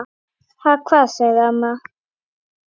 Ha, hvað? sagði amma.